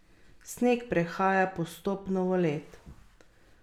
Sneg prehaja postopno v led.